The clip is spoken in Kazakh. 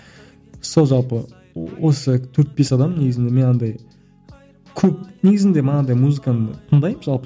сол жалпы осы төрт бес адам негізінде мен андай көп негізінде манағыдай музыканы тыңдаймын жалпы